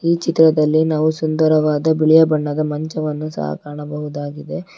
ಈ ಚಿತ್ರದಲ್ಲಿ ನಾವು ಸುಂದರವಾದ ಬಿಳಿಯ ಬಣ್ಣದ ಮಂಚವನ್ನು ಸಹ ಕಾಣಬಹುದಾಗಿದೆ.